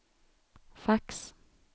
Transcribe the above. fax